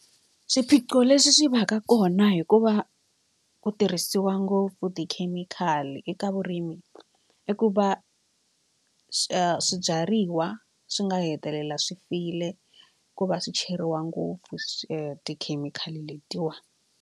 Swiphiqo leswi swi va ka kona hi ku va u tirhisiwa ngopfu tikhemikhali eka vurimi i ku va swibyariwa swi nga hetelela swi file ku va swi cheriwa ngopfu swi tikhemikhali letiwani.